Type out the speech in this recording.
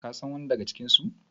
kasan wani daga cikinsu?